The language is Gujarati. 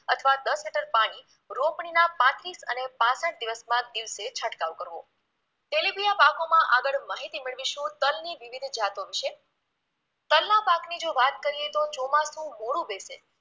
અથવા દસ લિટર પાણી રોપણીના પાંત્રીસ અને પાંસઠ દિવસમાં દિવસે છંટકાવ કરવો તેલિબીયા પાકોમાં આગળ માહિતી મેળવીશું તલની વિવિધ જાતો વિશે, તલના પાકની જો વાત કરીએ તો ચોમાસુ મોડું બેસે